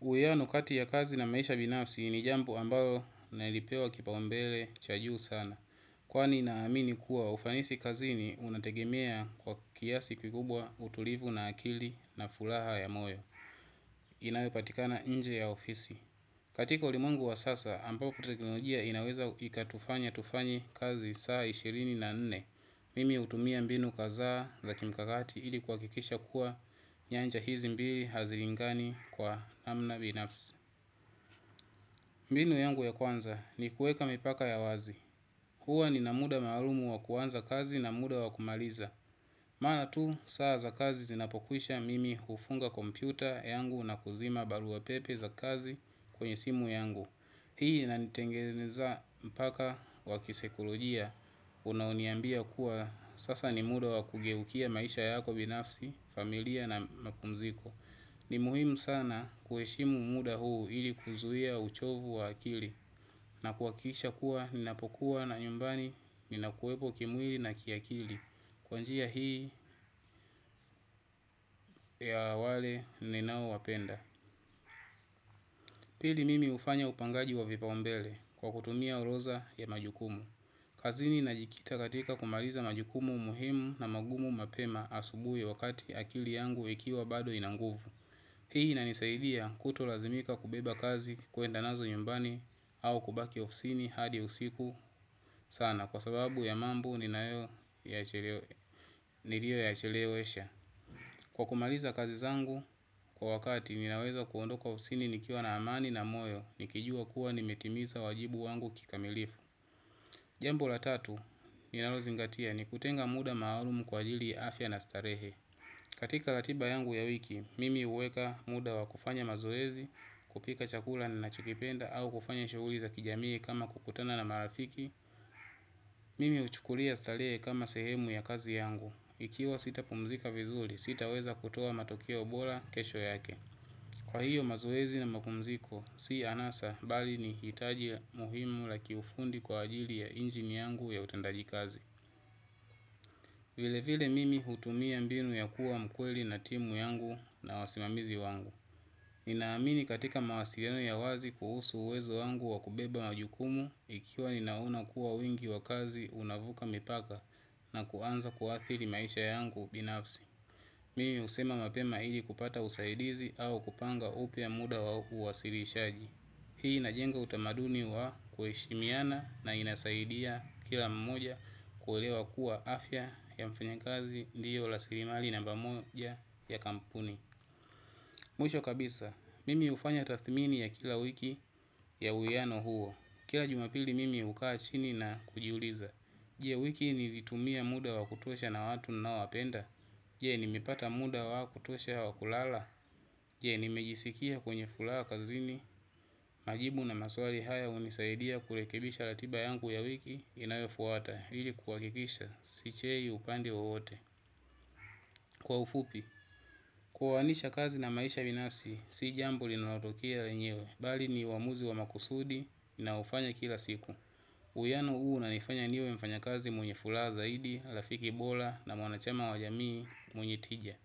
Uwiano kati ya kazi na maisha binafsi ni jambu ambalo nalipewa kipaumbele cha juu sana. Kwani naamini kuwa ufanisi kazini unategemea kwa kiasi kikubwa utulivu na akili na furaha ya moyo. Inayopatikana nje ya ofisi katika ulimwengu wa sasa, ambao teknologia inaweza ikatufanya tufanye kazi saa ishirini na nne. Mimi hutumia mbinu kadhaa za kimkakati ili kuhakikisha kuwa nyanja hizi mbili hazilingani kwa namna binafsi. Mbinu yangu ya kwanza ni kuweka mipaka ya wazi. Huwa nina muda maalumu wa kuanza kazi na muda wa kumaliza. Maana tu, saa za kazi zinapokwisha mimi hufunga kompyuta yangu na kuzima barua pepe za kazi kwenye simu yangu. Hii inanitengeneza mpaka kwa kisaikolojia, unaoniambia kuwa sasa ni muda wa kugeukia maisha yako binafsi, familia na mapumziko. Ni muhimu sana kuheshimu muda huu ili kuzuia uchovu wa akili. Na kuhakikisha kuwa ninapokuwa na nyumbani ninakuwepo kimwili na kiakili kwa njia hii ya wale ninaowapenda. Pili mimi hufanya upangaji wa vipaumbele kwa kutumia orodha ya majukumu. Kazini najikita katika kumaliza majukumu muhimu na magumu mapema asubui wakati akili yangu ikiwa bado ina nguvu. Hii inanisaidia kutu lazimika kubeba kazi kuenda nazo nyumbani au kubaki ofisini hadi usiku sana kwa sababu ya mambu nilio yachelewesha. Kwa kumaliza kazi zangu kwa wakati ninaweza kuondoka ofisini nikiwa na amani na moyo nikijua kuwa nimetimiza wajibu wangu kikamilifu. Jambo la tatu, ninalozingatia ni kutenga muda maalumu kwa ajili ya afya na starehe. Katika ratiba yangu ya wiki, mimi huweka muda wa kufanya mazoezi, kupika chakula na nachokipenda au kufanya shughuli za kijamii kama kukutana na marafiki. Mimi huchukulia starehe kama sehemu ya kazi yangu. Ikiwa sita pumzika vizuri, sitaweza kutoa matokea bora kesho yake. Kwa hiyo mazoezi na mapumziko, si anasa bali ni hitaji muhimu la kiufundi kwa ajili ya injini yangu ya utendaji kazi. Vile vile mimi hutumia mbinu ya kuwa mkweli na timu yangu na wasimamizi wangu. Ninaamini katika mawasiliano ya wazi kuhusu uwezo wangu wa kubeba majukumu, ikiwa ninaona kuwa wingi wa kazi unavuka mipaka na kuanza kuathiri maisha yangu binafsi. Mimi husema mapema ili kupata usaidizi au kupanga upya muda wa uwasilishaji. Hii inajenga utamaduni wa kuheshimiana na inasaidia kila mmoja kuelewa kuwa afya ya mfanya kazi ndiyo rasilimali namba moja ya kampuni. Mwisho kabisa, mimi hufanya tathmini ya kila wiki ya uwiano huo. Kila jumapili mimi hukaa chini na kujiuliza. Je wiki nilitumia muda wa kutuosha na watu ninaowapenda. Je nimepata muda wa kutosha wa kulala. Je, nimejisikia kwenye furaha kazini. Majibu na maswali haya hunisaidia kurekebisha ratiba yangu ya wiki inayofuata ili kuhakikisha. Sichei upande wowote. Kwa ufupi, kuoanisha kazi na maisha binafsi si jambo linalotokea lenyewe. Bali ni uamuzi wa makusudi naufanya kila siku. Uwiano huu unanifanya niwe mfanya kazi mwenye furaha zaidi, rafiki bora na wanachama wa jamii mwenye tija.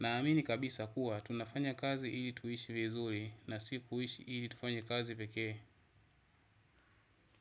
Naamini kabisa kuwa, tunafanya kazi ili tuishi vizuri na si kuishi ili tufanye kazi pekee.